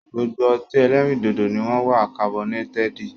Gbogbo ọtí ẹlẹ́rìndòdò ni wọn wá kabọnétẹ́ẹ́di